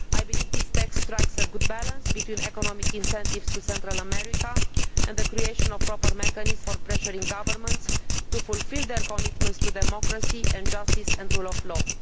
I believe this text strikes a good balance between economic incentives to Central America and the creation of proper mechanisms for pressuring governments to fulfil their commitments to democracy and justice and rule of law.